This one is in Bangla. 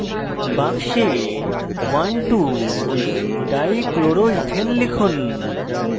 box 12dichloroethane লিখুন